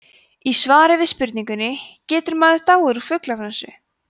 í svari við spurningunni getur maður dáið úr fuglaflensu